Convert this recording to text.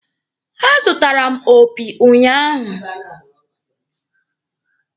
A zụtara m opi ụnyaahụ.